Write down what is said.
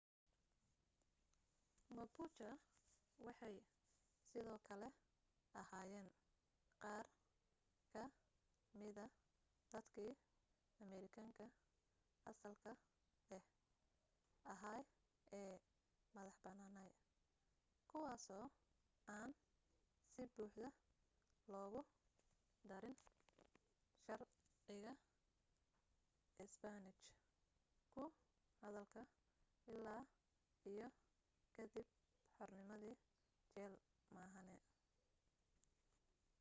mapuche waxay sidoo kale ahaayeen qaar ka mida dadkii amerikaanka asalka ah ahaa ee madaxa banaanaa kuwaaso aan si buuxda loogu darin sharciga isbaanish ku hadalka illaa iyo ka dib xornimadii jayl maahane